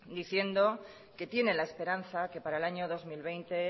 diciendo que tiene la esperanza que para el año dos mil veinte